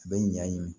U bɛ ɲaɲini